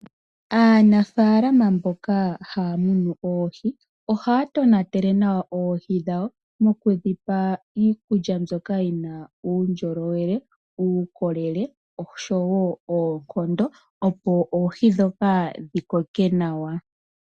Aanafalama mboka haamunu oohi, ohaa tonatele nawa oohi dhawo noku dhipa iikulya mbyoka yina uundjolowele , uukolele oshowo oonkondo opo oohi dhoka dhi koke nawa.